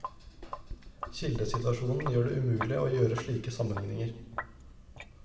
Kildesituasjonen gjør det umulig å gjøre slike sammenlikninger.